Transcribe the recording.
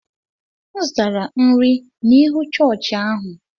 M zụtara nri n’ihu chọọchị ahụ.